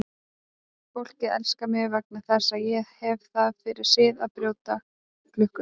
Fólkið elskar mig vegna þess að ég hef það fyrir sið að brjóta klukkur.